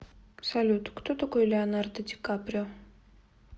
салют кто такой леонардо ди каприо